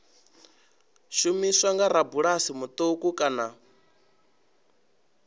shumiswa nga rabulasi muṱuku kana